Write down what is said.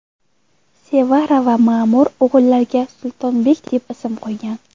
Sevara va Ma’mur o‘g‘illariga Sultonbek deb ism qo‘ygan.